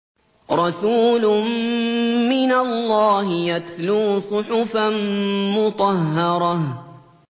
رَسُولٌ مِّنَ اللَّهِ يَتْلُو صُحُفًا مُّطَهَّرَةً